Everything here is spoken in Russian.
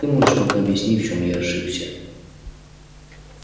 ты можешь пока объяснить в чём я ошибся